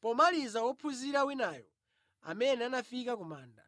Pomaliza wophunzira winayo, amene anafika ku manda